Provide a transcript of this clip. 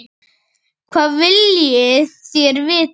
Hvað viljið þér vita?